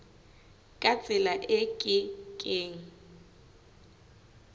ka tsela e ke keng